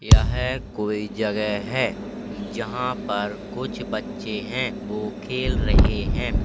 यहे कोई जगह है जहां पर कुछ बच्चे हैं वो खेल रहे हैं।